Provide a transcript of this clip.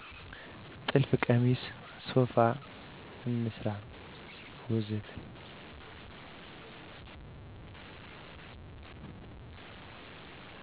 ጥልፍ ቀሚስ፣ ሶፋ፣ እንስራ ወዘተ